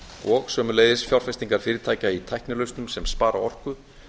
og sömuleiðis fjárfestingar fyrirtækja í tæknilausnum sem spara orku